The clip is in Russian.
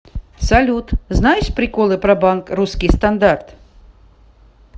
салют знаешь приколыпро банк русский стандарт